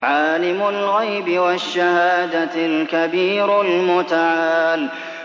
عَالِمُ الْغَيْبِ وَالشَّهَادَةِ الْكَبِيرُ الْمُتَعَالِ